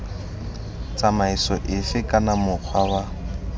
tsamaiso efe kana mokgwa wa